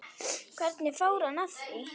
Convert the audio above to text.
Hvernig fór hann að því?